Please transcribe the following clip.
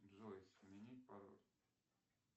джой сменить пароль